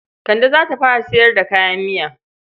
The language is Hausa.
Kande za ta fara sayar da kayan miya.